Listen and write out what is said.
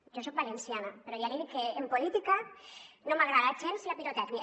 jo soc valenciana però ja li dic que en política no m’agrada gens la pirotècnia